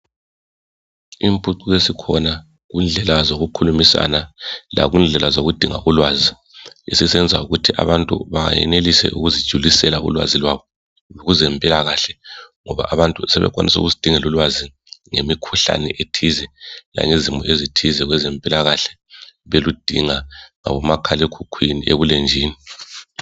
Imphucuko esikhona kundlela zokukhulumisana ngekundlela zokudinga ulwazi isisenza ukuthi abantu bayenelise ukuzijulisela ulwazi lwabo kwezemplakahle ngoba abantu sebekwanisa ukuzidingela ulwazi ngemikhuhlane ethize langezimo ezithize kwezempilakahle beludinga lakumakhalemkhukhwini ebulenjini.